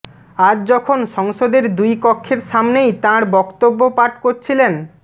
আজ যখন সংসদের দুই কক্ষের সামনেই তাঁর বক্তব্য পাঠ করছিলেন